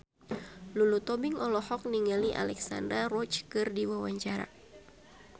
Lulu Tobing olohok ningali Alexandra Roach keur diwawancara